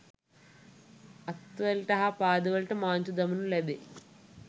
අත්වලට හා පාදවලට මාංචු දමනු ලැබේ